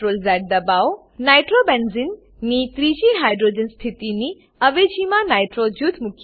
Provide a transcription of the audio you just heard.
નાઇટ્રોબેન્ઝને nitrobenzene ની ત્રીજી hydrogen સ્થિતિની અવેજીમાં નાઇટ્રો નાઈટ્રો જૂથ મુકીએ